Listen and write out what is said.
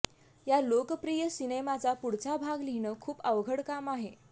या लोकप्रिय सिनेमाचा पुढचा भाग लिहिणं खूप अवघड काम आहे